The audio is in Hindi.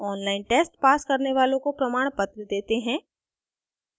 online test pass करने वालों को प्रमाणपत्र देते हैं